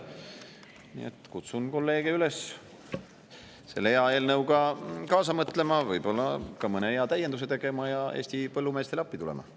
Nii et kutsun kolleege üles selle hea eelnõu kaasa mõtlema, võib-olla ka mõne hea täienduse tegema ja Eesti põllumeestele appi tulema.